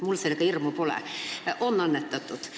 Minul selles mõttes hirmu pole – on annetatud.